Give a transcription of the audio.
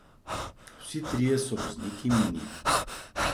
Vsi trije so vozniki minijev.